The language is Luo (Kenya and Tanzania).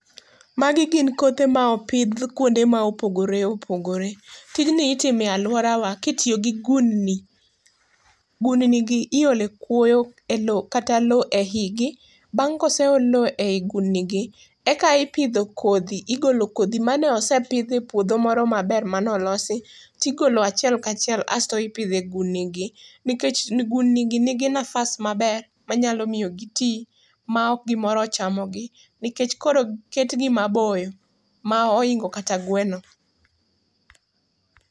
Magi gin kothe ma opidh kuonde ma opogore opogore. Tijni itimo e lworawa kitiyo gi gundni. Gundnigi iole kuoyo kata lo e igi. Bang' koseol lo ei gundnigi, eka ipidho kodhi. Igolo kodhi mane osepidhi e puodho moro maber manolosi, tigolo achiel kachiel asto ipidho e gundnigi. Nikech gundnigi nigi nafas maber, manyalo miyo giti ma ok gimoro ochamogi nikech koro oketgi maboyo ma oingo kata gweno.